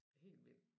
Helt vild